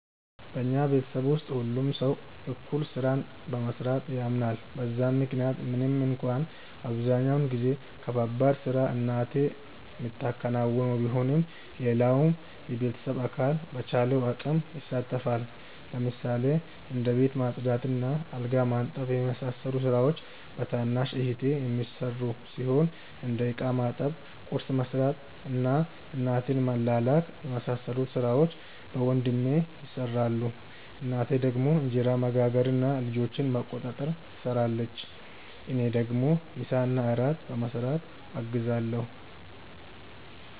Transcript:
በኛ ቤተሰብ ውስጥ ሁሉም ሰው እኩል ስራን በመስራት ያምናል በዛም ምክንያት ምንም እንኳን አብዛኛውን ከባባድ ስራ እናቴ ምታከናውነው ቢሆንም ሌላውም የቤተሰብ አካል በቻለው አቅም ይሳተፋል። ለምሳሌ እንደ ቤት ማጽዳት እና አልጋ ማንጠፍ የመሳሰሉት ስራዎች በታናሽ እህቴ የሚሰሩ ሲሆን እንደ እቃ ማጠብ፣ ቁርስ መስራት እና እናቴን መላላክ የመሳሰሉት ሥራዎች በወንድሜ ይሰራሉ። እናቴ ደግሞ እንጀራ መጋገር እና ልጆችን መቆጣጠር ትሰራለች። እኔ ደግሞ ምሳና እራት በመስራት አግዛለሁ።